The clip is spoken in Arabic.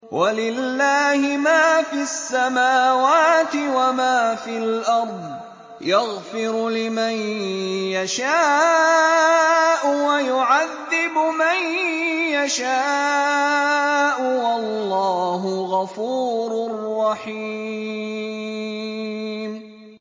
وَلِلَّهِ مَا فِي السَّمَاوَاتِ وَمَا فِي الْأَرْضِ ۚ يَغْفِرُ لِمَن يَشَاءُ وَيُعَذِّبُ مَن يَشَاءُ ۚ وَاللَّهُ غَفُورٌ رَّحِيمٌ